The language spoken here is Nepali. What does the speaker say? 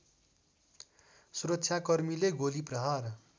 सुरक्षाकर्मीले गोली प्रहार